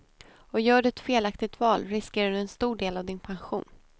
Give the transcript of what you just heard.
Och gör du ett felaktigt val riskerar du en stor del av din pension.